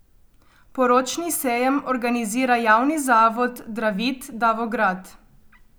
Poročni sejem organizira javni zavod Dravit Davograd.